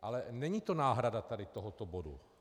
Ale není to náhrada tady tohoto bodu.